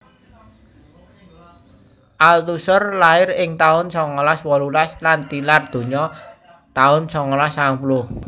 Althusser lair ing taun songolas wolulas lan tilar donya taun songolas sangang puluh